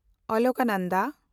Alaknanda